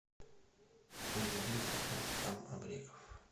лезгинка рустам абреков